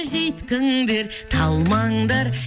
жүйткіңдер талмаңдар